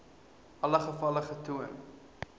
alle gevalle getoon